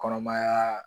Kɔnɔmaya